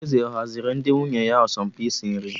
Eze ọ haziri ndị nwunye ya asọmpi isi nri?